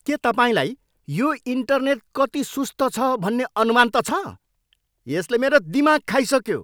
के तपाईँलाई यो इन्टरनेट कति सुस्त छ भन्ने अनुमान त छ? यसले मेरो दिमाग खाइसक्यो!